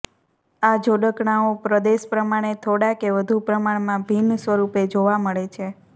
આ જોડકણાંઓ પ્રદેશ પ્રમાણે થોડાં કે વધુ પ્રમાણમાં ભિન્ન સ્વરૂપે જોવા મળે છે